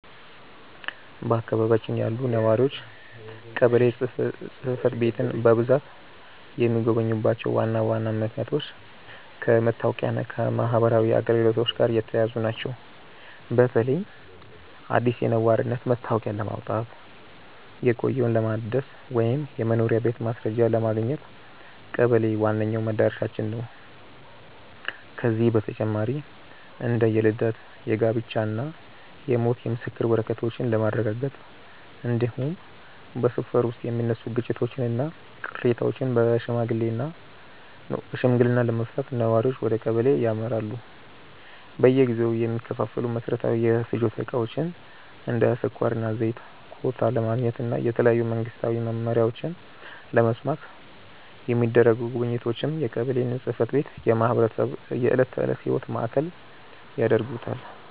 በአካባቢያችን ያሉ ነዋሪዎች ቀበሌ ጽሕፈት ቤትን በብዛት የሚጎበኙባቸው ዋና ዋና ምክንያቶች ከመታወቂያና ከማኅበራዊ አገልግሎቶች ጋር የተያያዙ ናቸው። በተለይም አዲስ የነዋሪነት መታወቂያ ለማውጣት፣ የቆየውን ለማደስ ወይም የመኖሪያ ቤት ማስረጃ ለማግኘት ቀበሌ ዋነኛው መድረሻችን ነው። ከዚህ በተጨማሪ እንደ የልደት፣ የጋብቻና የሞት የምስክር ወረቀቶችን ለማረጋገጥ፣ እንዲሁም በሰፈር ውስጥ የሚነሱ ግጭቶችንና ቅሬታዎችን በሽምግልና ለመፍታት ነዋሪዎች ወደ ቀበሌ ያመራሉ። በየጊዜው የሚከፋፈሉ መሠረታዊ የፍጆታ ዕቃዎችን (እንደ ስኳርና ዘይት) ኮታ ለማግኘትና የተለያዩ መንግስታዊ መመሪያዎችን ለመስማት የሚደረጉ ጉብኝቶችም የቀበሌን ጽሕፈት ቤት የማኅበረሰቡ የዕለት ተዕለት ሕይወት ማዕከል ያደርጉታል።